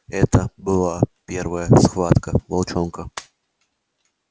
это была первая схватка волчонка